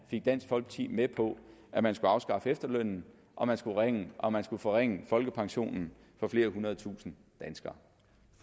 fik dansk folkeparti med på at man skulle afskaffe efterlønnen og forringe og forringe folkepensionen for flere hundrede tusinde danskere